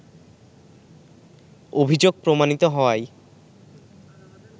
অভিযোগ প্রমাণিত হওয়ায়